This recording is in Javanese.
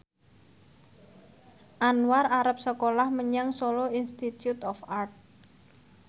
Anwar arep sekolah menyang Solo Institute of Art